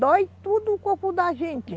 Dói tudo o corpo da gente.